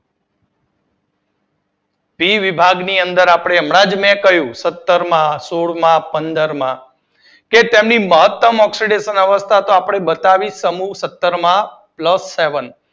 પી વિભાગની અંદર મે હમણાં જ કહિયું કે સત્તર માં સોળ માં પંદર માં, કે તેમની મહતમ ઓક્સીડેશન અવસ્થા તો બતાવી. સમૂહ સત્તર માં પ્લસ સેવન